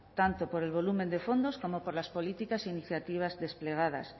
tanto por el volumen de fondos como por las políticas e iniciativas desplegadas